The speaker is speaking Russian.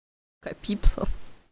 копиться